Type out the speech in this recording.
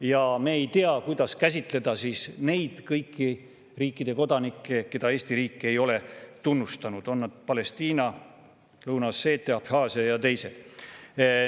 Ja me ei tea, kuidas käsitleda siis kõiki selliste riikide kodanikke, mida Eesti riik ei ole tunnustanud, on see siis Palestiina, Lõuna-Osseetia, Abhaasia või mõni teine.